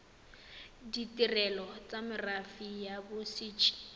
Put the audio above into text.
ditirelo tsa merafe ya bodit